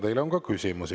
Teile on ka küsimusi.